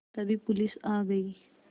तभी पुलिस आ गई